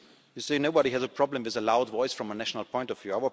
debate. You say that nobody has a problem with a loud voice from a national point